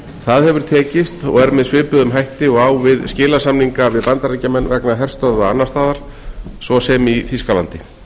það hefur tekist og með svipuðum hætti og á við skilasamninga við bandaríkjamenn vegna herstöðva annars staðar svo sem í þýskalandi